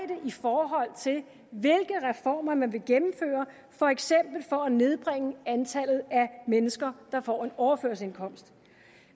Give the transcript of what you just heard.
i forhold til hvilke reformer man vil gennemføre for eksempel for at nedbringe antallet af mennesker der får en overførselsindkomst